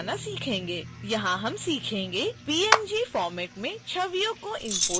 यहाँ हम सीखेंगे png फ़ॉर्मैट में छवियों को इम्पोर्ट करना